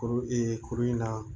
Kuru ee kuru in na